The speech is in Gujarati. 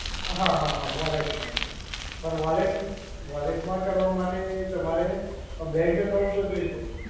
હા હા હા, વોલેટમાં જ. પણ વોલેટ વોલેટમાં કરવા માટે તમારે બેન્ક એકાઉન્ટ તો જોઈશે જ.